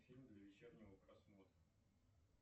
фильм для вечернего просмотра